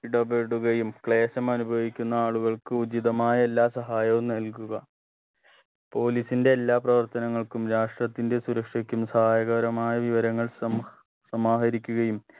ഇടപെടുകയും ക്ലേശമനുഭവിക്കുന്ന ആളുകൾക്ക് ഉചിതമായ എല്ലാ സഹായവും നൽകുക police ന്റെ എല്ലാ പ്രവർത്തനങ്ങൾക്കും രാഷ്ടത്തിന്റെ സുരക്ഷക്കും സഹായകരമായ വിവരങ്ങൾ സം സമാഹരിക്കുകയും